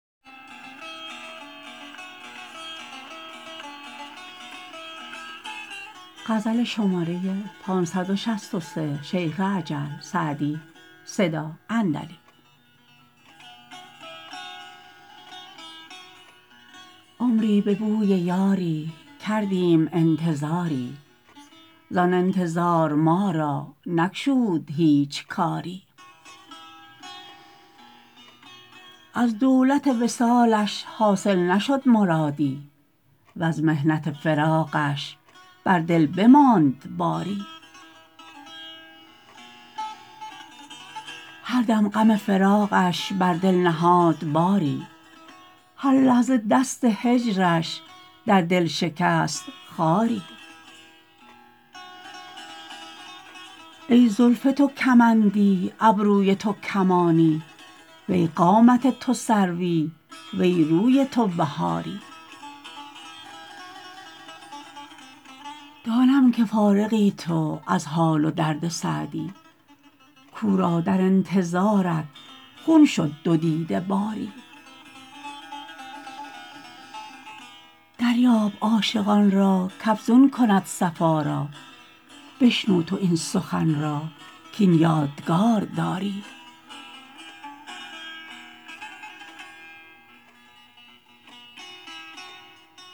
عمری به بوی یاری کردیم انتظاری زآن انتظار ما را نگشود هیچ کاری از دولت وصالش حاصل نشد مرادی وز محنت فراقش بر دل بماند باری هر دم غم فراقش بر دل نهاد باری هر لحظه دست هجرش در دل شکست خاری ای زلف تو کمندی ابروی تو کمانی وی قامت تو سروی وی روی تو بهاری دانم که فارغی تو از حال و درد سعدی کاو را در انتظارت خون شد دو دیده باری دریاب عاشقان را کافزون کند صفا را بشنو تو این سخن را کاین یادگار داری